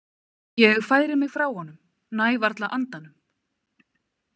Ég færi mig frá honum, næ varla andanum.